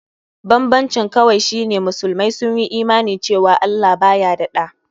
Banbancin kawai shi ne musulmai sun Imani cewa Allah baya da ɗa.